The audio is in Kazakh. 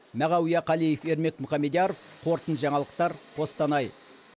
мағауия қалиев ермек мұхамедияров қорытынды жаңалықтар қостанай